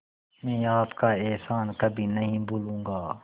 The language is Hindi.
मैं आपका एहसान कभी नहीं भूलूंगा